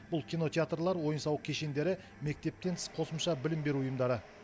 бұл кинотеатрлар ойын сауық кешендері мектептен тыс қосымша білім беру ұйымдары